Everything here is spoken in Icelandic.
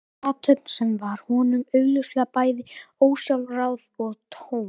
Þetta var athöfn sem var honum augljóslega bæði ósjálfráð og töm.